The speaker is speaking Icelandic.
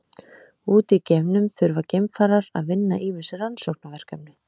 Úti í geimnum þurfa geimfarar að vinna ýmis rannsóknarverkefni.